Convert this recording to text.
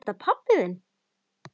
Er þetta pabbi þinn?